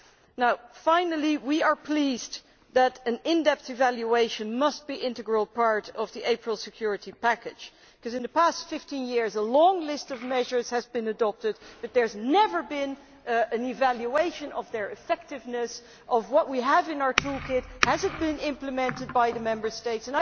Lastly, we are pleased that an in depth evaluation must be an integral part of the April security package because, in the past 15 years, a long list of measures has been adopted but there has never been an evaluation of their effectiveness and of what we have in our toolkit. Have the measures been implemented by the Member States?